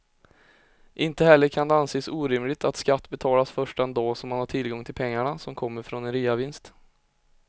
Inte heller kan det anses orimligt att skatt betalas först den dag som man har tillgång till pengarna som kommer från en reavinst.